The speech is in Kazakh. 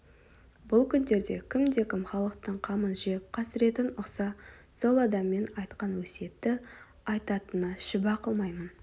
бұл күндерде кімде-кім халықтың қамын жеп қасіретін ұқса сол адам мен айтқан өсиетті айтатынына шүбә қылмаймын